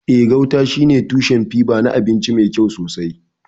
Eh, gauta shine tushen fiber na abinci mai kyau sosai.